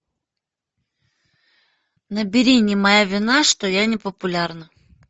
набери не моя вина что я не популярна